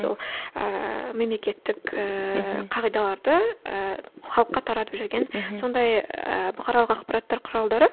ол ііі мемлекеттік ііі кағидаларды ііі халыққа таратып жүрген сондай ііі бұқаралық ақпараттар құралдары